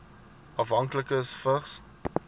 afhanklikes vigs